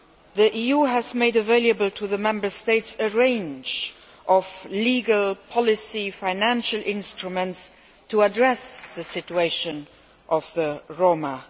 The EU has made available to the Member States a range of legal, policy and financial instruments to address the situation of the Roma.